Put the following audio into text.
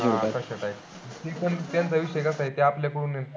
हां तशा type पण त्यांचा कसा विषय आहे ते आपल्या कडून